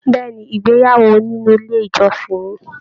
Bẹ̀ẹ́ni, ìgbéyàwó nínú ilé ìjọsìn ní.